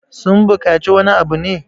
sun bukaci wani abu ne?